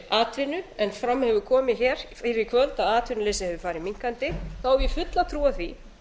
atvinnu en fram hefur komið hér fyrir í kvöld að atvinnuleysi hefur farið minnkandi hef ég fulla trú á því